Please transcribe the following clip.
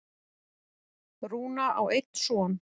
Rúna á einn son.